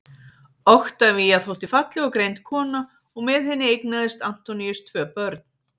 oktavía þótti falleg og greind kona og með henni eignaðist antoníus tvö börn